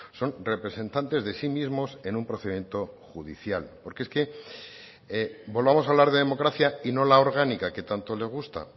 son representantes de sí mismos en un procedimiento judicial porque es que volvamos a hablar de democracia y no la orgánica que tanto le gusta